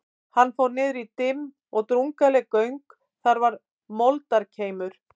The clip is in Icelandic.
Hann fór niður í dimm og drungaleg göng, þar var moldarkeimur.